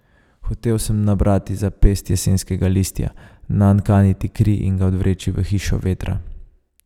Hotel sem nabrati za pest jesenskega listja, nanj kaniti kri in ga odvreči v Hišo vetra.